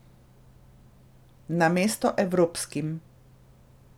Namesto evropskim.